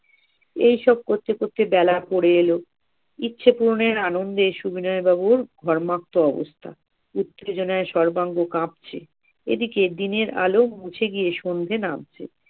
এইসব করতে করতে বেলা পড়ে এলো, ইচ্ছা পূরণের আনন্দে সবিনয় বাবুর ঘর্মাক্ত অবস্থা, উত্তেজনায় সর্বাঙ্গ কাঁপছে। এদিকে দিনের আলো মুছে গিয়ে সন্ধে নামছে